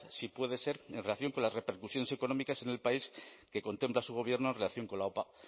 si puede ser en relación con las repercusiones económicas en el país que contempla su gobierno en relación con la opa